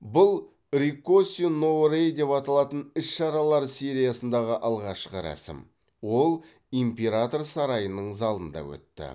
бұл риккоси но рэй деп аталатын іс шаралар сериясындағы алғашқы рәсім ол император сарайының залында өтті